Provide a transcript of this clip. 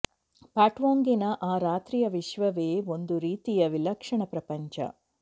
ಪಾಟ್ಪೋಂಗಿನ ಆ ರಾತ್ರಿಯ ವಿಶ್ವವೆ ಒಂದು ರೀತಿಯ ವಿಲಕ್ಷಣ ಪ್ರಪಂಚ